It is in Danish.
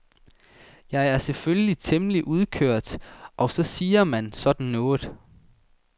Jeg er selvfølgelig temmelig udkørt og så siger man sådan noget.